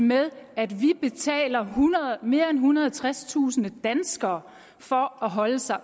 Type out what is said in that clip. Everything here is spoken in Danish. med at vi betaler mere end ethundrede og tredstusind danskere for at holde sig